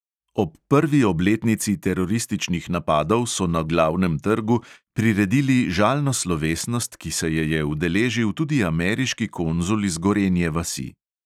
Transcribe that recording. Ob prvi obletnici terorističnih napadov so na glavnem trgu priredili žalno slovesnost, ki se je je udeležil tudi ameriški konzul iz gorenje vasi.